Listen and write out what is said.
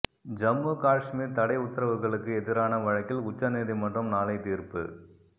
ஜம்மு காஷ்மீர் தடை உத்தரவுகளுக்கு எதிரான வழக்கில் உச்சநீதிமன்றம் நாளை தீர்ப்பு